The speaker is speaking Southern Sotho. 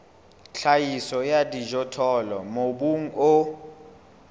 tlhahiso ya dijothollo mobung o